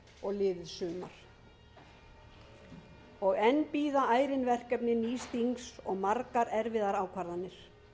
liðið sumar og enn bíða ærin verkefni nýs þings og margar erfiðar ákvarðanir